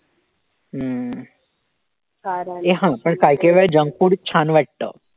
हम्म ए हा पण काही काही वेळी junk food छान वाटतं.